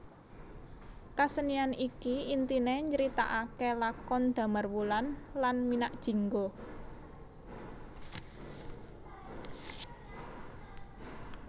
Kasenian iki intiné nyritakaké lakon Damarwulan lan Minakjingga